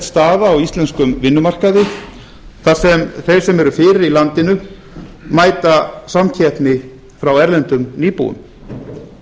staða á íslenskum vinnumarkaði þar sem þeir sem eru fyrir í landinu mæta samkeppni frá erlendum íbúum